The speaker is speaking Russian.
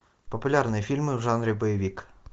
популярные фильмы в жанре боевик